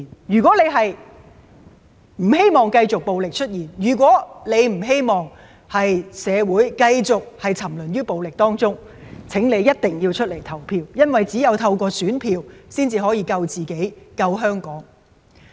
如果你不希望繼續有暴力出現，如果你不希望社會繼續沉淪於暴力中，請你一定要出來投票，因為只有透過選票，才能救自己、救香港。